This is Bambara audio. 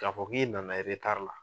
K'a fɔ k'e nana ta la